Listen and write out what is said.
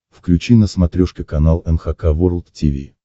включи на смотрешке канал эн эйч кей волд ти ви